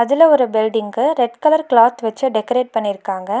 இதுல ஒரு பில்டிங்க்கு ரெட் கலர் க்ளாத் வெச்சு டெக்கரேட் பண்ணிர்க்காங்க.